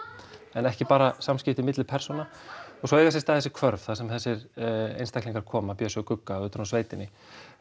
en ekki bara samskipti milli persóna og svo eiga sér stað þessi hvörf þar sem þessir einstaklingar koma Bjössi og Gugga utan úr sveitinni